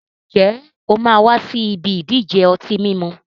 Ǹjẹ́ o máa wà sì ibi ìdíje ọtí mímu?